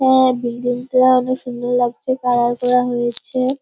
হ্যাঁ বিল্ডিং -টা অনেক সুন্দর লাগছে কালার করা হয়েছে ।